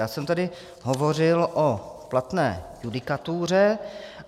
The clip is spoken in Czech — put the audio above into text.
Já jsem tady hovořil o platné judikatuře.